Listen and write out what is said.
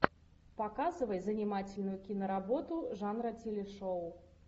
показывай занимательную киноработу жанра телешоу